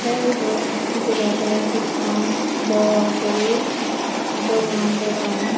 te ibot dega jar ekkan bor guri dogan dedon.